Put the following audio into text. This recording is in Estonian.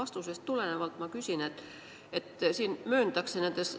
Küsin tulenevalt teie viimasest vastusest.